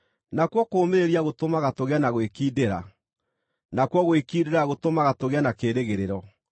nakuo kũũmĩrĩria gũtũmaga tũgĩe na gwĩkindĩra; nakuo gwĩkindĩra gũtũmaga tũgĩe na kĩĩrĩgĩrĩro.